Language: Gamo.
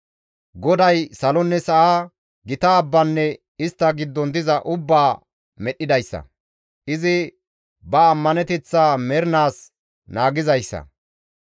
GODAY salonne sa7a, gita abbanne istta giddon diza ubbaa medhdhidayssa; izi ba ammaneteththaa mernaas naagizayssa.